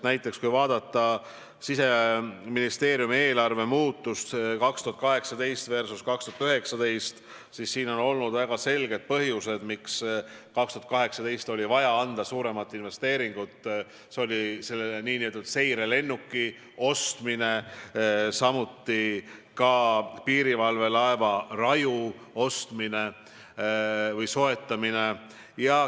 Näiteks, kui vaadata Siseministeeriumi eelarve muutust 2018 versus 2019, siis olid väga selged põhjused, miks 2018. aastal oli vaja suuremat investeeringut, see oli see nn seirelennuki ostmine, samuti ka piirivalvelaeva Raju soetamine.